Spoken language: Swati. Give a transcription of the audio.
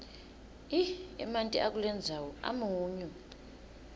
emanti akulendzawo amunyu